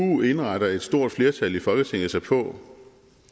nu indretter et stort flertal i folketinget sig på